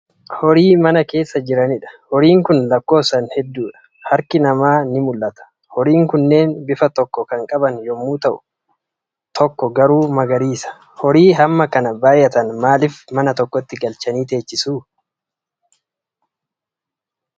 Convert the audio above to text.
Horii mana keessa jiranidha. Horiin Kun lakkoofsaan hedduudha. Harki namaa ni mul'ata. Horiin kunneen bifa tokko kan qaban yommuu ta'an, tokko garuu magariisa. Horii hamma kana baay'atan maalif mana tokkotti galchanii teechisu?